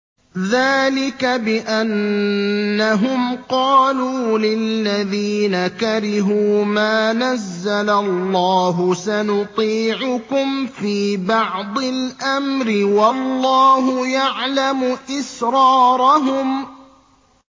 ذَٰلِكَ بِأَنَّهُمْ قَالُوا لِلَّذِينَ كَرِهُوا مَا نَزَّلَ اللَّهُ سَنُطِيعُكُمْ فِي بَعْضِ الْأَمْرِ ۖ وَاللَّهُ يَعْلَمُ إِسْرَارَهُمْ